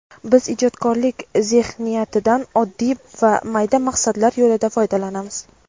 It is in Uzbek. Biz ijodkorlik zexniyatidan oddiy va mayda maqsadlar yo‘lida foydalanamiz.